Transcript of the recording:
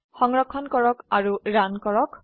সংৰক্ষণ কৰক ৰান কৰক